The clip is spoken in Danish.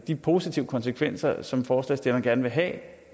de positive konsekvenser som forslagsstillerne gerne vil have